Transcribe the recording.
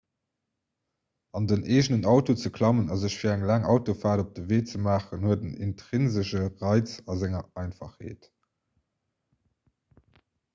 an den eegenen auto ze klammen a sech fir eng laang autofaart op de wee ze maachen huet en intrinsesche reiz a senger einfachheet